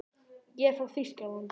Ég er frá Þýskalandi.